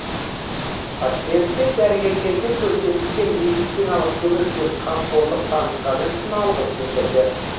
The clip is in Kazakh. пациенттер дәрігерлерге көрсетілген медициналық көмек пен қамқорлық танытқаны үшін алғыс білдірді